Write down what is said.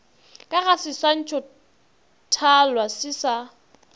ka ga seswantšhothalwa se sa